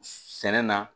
Sɛnɛ na